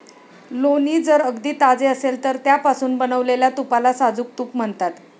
लोणी जर अगदी ताजे असेल तर त्यापासून बनवलेल्या तुपाला साजूक तूप म्हणतात.